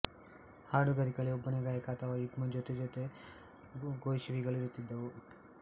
ಹಾಡುಗಾರಿಕೆಯಲ್ಲಿ ಒಬ್ಬನೇ ಗಾಯಕ ಅಥವಾ ಯುಗ್ಮ ಜೊತೆ ಅಥವಾ ಗೋಷಿವಿಗಳು ಇರುತ್ತಿದುವು